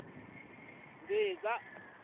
mbhiza